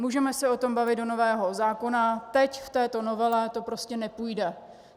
Můžeme se o tom bavit do nového zákona, teď, v této novele to prostě nepůjde.